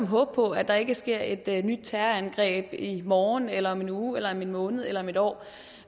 håbe på at der ikke sker et et nyt terrorangreb i morgen eller om en uge eller om en måned eller om et år